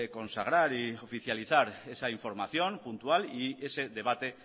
consagrar y oficializar esa información puntual y ese debate